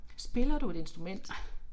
Spiller du et instrument?